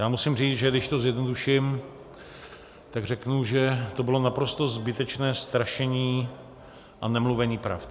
Já musím říct, že když to zjednoduším, tak řeknu, že to bylo naprosto zbytečné strašení a nemluvení pravd.